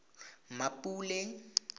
mmapule